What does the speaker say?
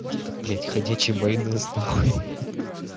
это блядь ходячий майонез на хуй ха-ха